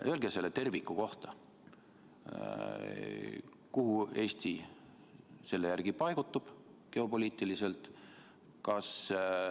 Öelge sellest tervikust lähtudes: kuhu Eesti selle järgi paigutub geopoliitiliselt?